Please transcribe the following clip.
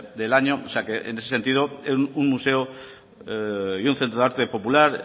del año o sea que en ese sentido un museo y un centro de arte popular